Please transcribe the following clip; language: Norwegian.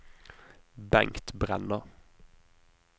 Bengt Brenna